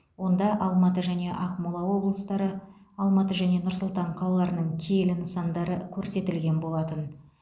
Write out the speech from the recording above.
онда алматы және ақмола облыстары алматы және нұр сұлтан қалаларының киелі нысандары көрсетілген болатын